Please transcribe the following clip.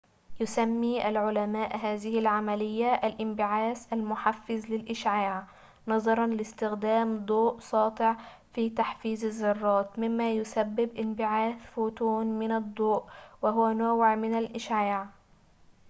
يسمي العلماء هذه العملية الانبعاث المحفِّز للإشعاع نظراً لاستخدام ضوء ساطع في تحفيز الذرات مما يسبب انبعاث فوتون من الضوء وهو نوع ٌمن الإشعاع